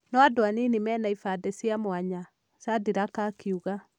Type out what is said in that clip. No andũ anini aria mena ĩfande cia mwanya," Shadrack akiuga